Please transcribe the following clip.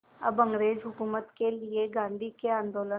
अब अंग्रेज़ हुकूमत के लिए गांधी के आंदोलन